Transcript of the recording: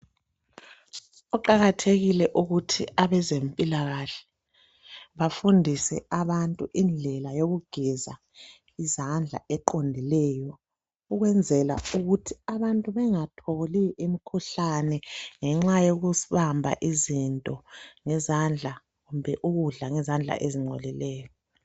Kuqakathekile ukuthi abezempilakahle bafundise abantu indlela yokugeza izandla eqondileyo, ukwenzela ukuthi abantu bengatholi imikhuhlane ngenxa yokubamba izinto ngezandla, kumbe ukudla ngezandla ezingcolileyo.